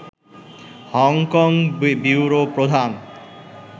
Hong Kong bureau প্রধান